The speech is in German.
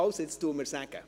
Sagen Sie es mir bitte.